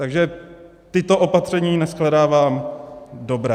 Takže tato opatření neshledávám dobrá.